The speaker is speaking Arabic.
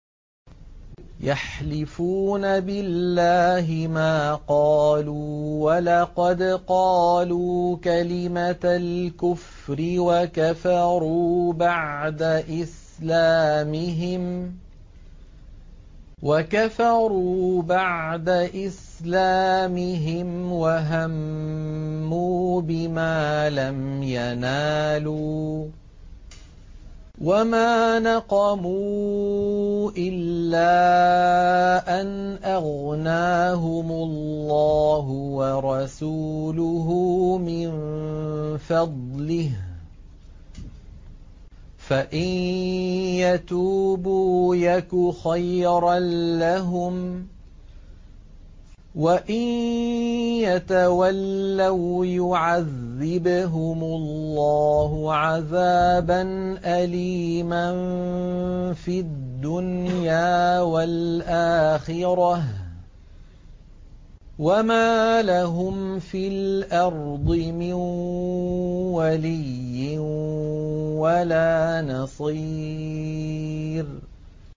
يَحْلِفُونَ بِاللَّهِ مَا قَالُوا وَلَقَدْ قَالُوا كَلِمَةَ الْكُفْرِ وَكَفَرُوا بَعْدَ إِسْلَامِهِمْ وَهَمُّوا بِمَا لَمْ يَنَالُوا ۚ وَمَا نَقَمُوا إِلَّا أَنْ أَغْنَاهُمُ اللَّهُ وَرَسُولُهُ مِن فَضْلِهِ ۚ فَإِن يَتُوبُوا يَكُ خَيْرًا لَّهُمْ ۖ وَإِن يَتَوَلَّوْا يُعَذِّبْهُمُ اللَّهُ عَذَابًا أَلِيمًا فِي الدُّنْيَا وَالْآخِرَةِ ۚ وَمَا لَهُمْ فِي الْأَرْضِ مِن وَلِيٍّ وَلَا نَصِيرٍ